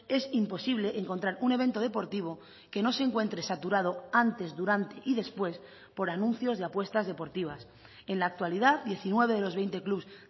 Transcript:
es imposible encontrar un evento deportivo que no se encuentre saturado antes durante y después por anuncios de apuestas deportivas en la actualidad diecinueve de los veinte clubs